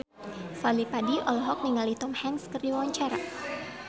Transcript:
Fadly Padi olohok ningali Tom Hanks keur diwawancara